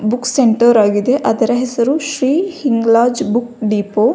Books centre ಆಗಿದೆ ಅದರ ಹೆಸರು ಶ್ರೀ ಹಿಂಗ್ಲಾಜ್ ಬುಕ್ಕ್ ಡಿಪೋ.